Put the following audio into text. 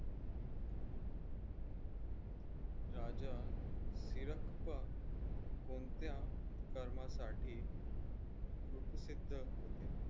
राजा फिरक्ता कोणत्या कर्मासाठी कुप्रसिद्ध होते?